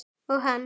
Og hann.